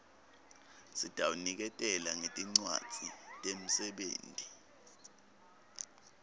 sitawuniketela ngetincwadzi temsebenti